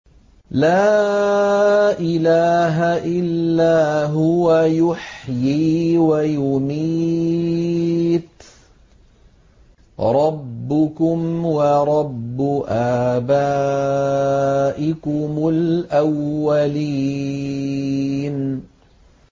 لَا إِلَٰهَ إِلَّا هُوَ يُحْيِي وَيُمِيتُ ۖ رَبُّكُمْ وَرَبُّ آبَائِكُمُ الْأَوَّلِينَ